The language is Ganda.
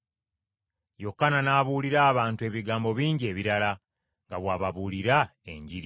Yokaana n’abuulirira abantu ebigambo bingi ebirala, nga bw’ababuulira Enjiri.